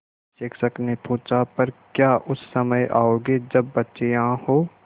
शिक्षक ने पूछा पर क्या उस समय आओगे जब बच्चे यहाँ हों